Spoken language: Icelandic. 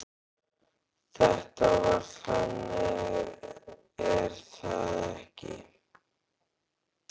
Þetta var þannig, er það ekki?